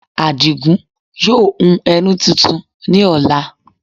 Àdìgún yóò hun ẹní tuntun ní ọ̀la